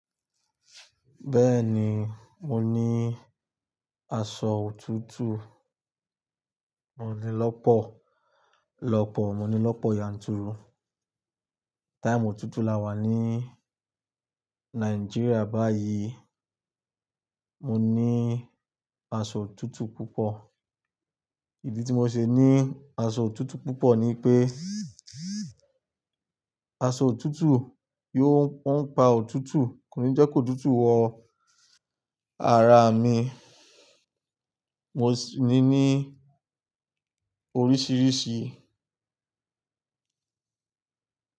Bẹ́ẹ̀ni, mo ní aṣọ òtútù. Mo ní lọ́pọ̀, lọ́pọ̀, mo ní lọ́pọ̀ yanturu. Time òtútù la wà ní Nigeria báyìí. Mo ní aṣọ òtútù púpọ̀. Ìdí tí mo ṣe ní aṣọ òtútù púpọ̀ ni wípé, aṣọ òtútù yóò-- on pa òtútù kòní jẹ́ kí òtútù wọ ara mi mo sì ní ní oríṣiríṣi.